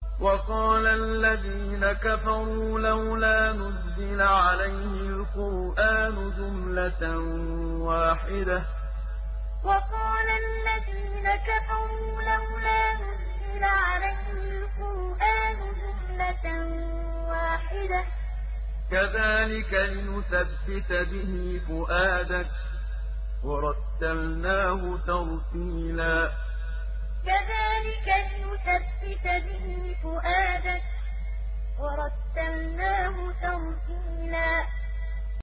وَقَالَ الَّذِينَ كَفَرُوا لَوْلَا نُزِّلَ عَلَيْهِ الْقُرْآنُ جُمْلَةً وَاحِدَةً ۚ كَذَٰلِكَ لِنُثَبِّتَ بِهِ فُؤَادَكَ ۖ وَرَتَّلْنَاهُ تَرْتِيلًا وَقَالَ الَّذِينَ كَفَرُوا لَوْلَا نُزِّلَ عَلَيْهِ الْقُرْآنُ جُمْلَةً وَاحِدَةً ۚ كَذَٰلِكَ لِنُثَبِّتَ بِهِ فُؤَادَكَ ۖ وَرَتَّلْنَاهُ تَرْتِيلًا